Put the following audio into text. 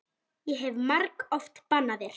Ég hef margoft bannað þér.